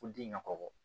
Ko den ka kɔkɔ